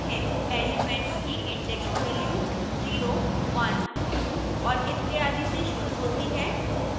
elements की index value 0 1 2 और इत्यादि से शुरू होती है